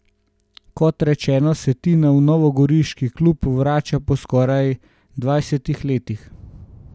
Kot rečeno se Tina v novogoriški klub vrača po skoraj dvajsetih letih.